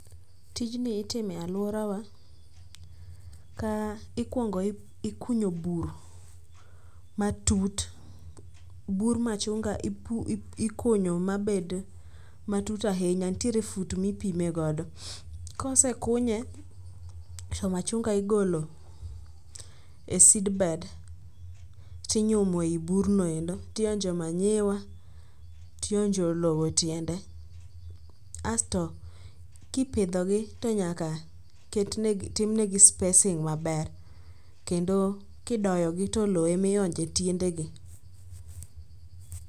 Tijni itime alworawa ka ikwongo ikunyo bur matut. Bur machunga ikunyo mabed matut ahinya ntiere fut mipime godo, kosekunye to machunga igolo e seedbed tinyumo e burno endo tionjo manyiwa tinjo lowo e tiende asto kipidhogi to nyaka timnegi spacing maber kendo kidoyogi to lowo emionjo e tiendegi.